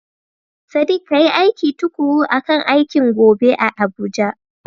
Sadiq, kayi aiki tukuru akan aikin gobe a Abuja.